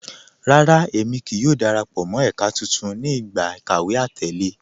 Rárá, ẹ̀mi kíí yọ̀ò darapọ̀ mọ́ ẹka tuntun ni igba ikàwé àtẹ̀lẹ